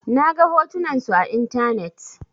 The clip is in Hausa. Na ga hotunan su a intanet.